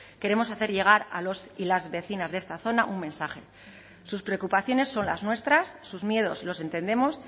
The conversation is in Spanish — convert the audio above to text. queremos hacer llegar a los y las vecinas de esta zona un mensaje sus preocupaciones son las nuestras sus miedos los entendemos